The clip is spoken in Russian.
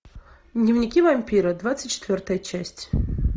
дневники вампира двадцать четвертая часть